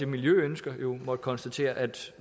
miljøønsker jo måtte konstatere at